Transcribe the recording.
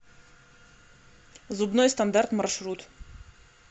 зубной стандарт маршрут